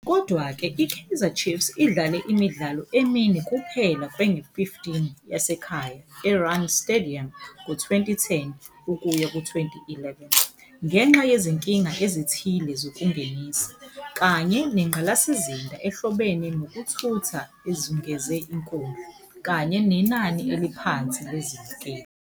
Kodwa-ke, i-Kaizer Chiefs idlale imidlalo emine kuphela kwengu-15 yasekhaya e-Rand Stadium ngo-2010 ukuya ku-11, ngenxa yezinkinga ezithile zokungenisa, kanye nengqalasizinda ehlobene nezokuthutha ezungeze inkundla - kanye nenani eliphansi lezibukeli.